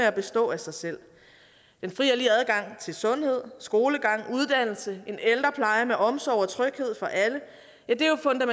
at bestå af sig selv den frie og til sundhed skolegang uddannelse en ældrepleje med omsorg og tryghed for alle